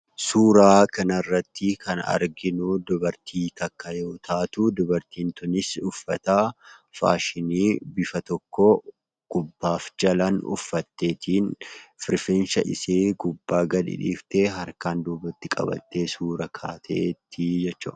Suuraa kana irratti kan arginu dubartii tokko yoo taatu, dubartiin kunis uffata 'faashinii' bifa tokko gubbaaf jalaan uffattee, rifeensa ishee gubbaa gadi dhiiftee, harkaan duubatti qabattee suura kaatee jirti jechuudha.